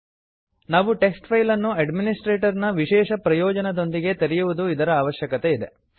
ನಾವು ಟೆಕ್ಸ್ ಫೈಲನ್ನು ಅಡ್ಮಿನಿಸ್ಟ್ರೇಟರ್ ನ ವಿಶೇಷ ಪ್ರಯೋಜನದೊಂದಿಗೆ ತೆರೆಯುವುದು ಇದರ ಅವಶ್ಯಕತೆ ಇದೆ